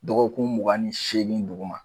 Dɔgɔkun mugan ni seegin duguma.